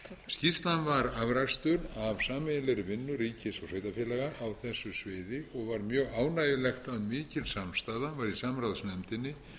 skýrslan var afrakstur af sameiginlegri vinnu ríkis og sveitarfélaga á þessu sviði og var mjög ánægjulegt að mikil samstaða var í samráðsnefndinni